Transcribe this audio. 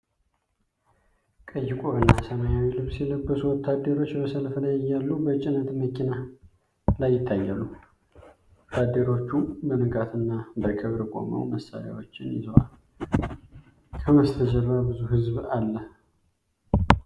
ቀይ ቆብ እና ሰማያዊ ልብስ የለበሱ ወታደሮች በሰልፍ ላይ እያሉ በጭነት መኪና ላይ ይታያሉ። ወታደሮቹ በንቃትና በክብር ቆመው መሳሪያዎችን ይዘዋል፤ ከበስተጀርባ ብዙ ህዝብ አለ።